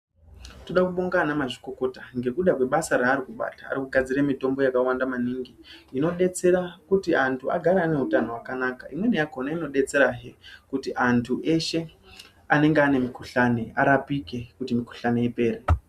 Toda kubonga anamazvikokota ngekuda kwebasa raari kubata. Ari kugadzire mitombo yakawanda maningi, inodetsera kuti antu agare ane utano hwakanaka. Imweni yakhona inodetserahe, kuti antu weshe anenge aine mukhuhlani ,arapike kuti mikhuhlani ipere.